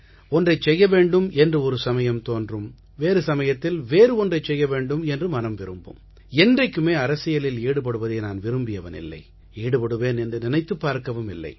ஒன்றைச் செய்ய வேண்டும் என்று ஒரு சமயம் தோன்றும் வேறு சமயத்தில் வேறு ஒன்றைச் செய்ய வேண்டும் என்று மனம் விரும்பும் என்றைக்குமே அரசியலில் ஈடுபடுவதை நான் விரும்பியவன் இல்லை ஈடுபடுவேன் என்று நினைத்துப் பார்க்கவும் இல்லை